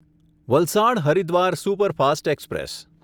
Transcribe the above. Valsad Haridwar superfast express